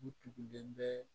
U tugelen bɛ